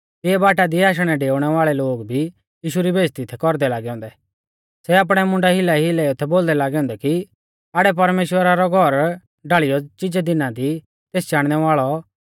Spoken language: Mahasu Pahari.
तिऐ बाटा दी आशणैडेउणै वाल़ै लोग भी यीशु री बेइज़्ज़ती थै कौरदै लागै औन्दै सै आपणै मुंडा हिलाईहिलाईयौ थै बोलदै लागै औन्दै कि आड़ै परमेश्‍वरा रौ घौर ढाल़ियौ चिजै दिना दी तेस चाणनै वाल़ौ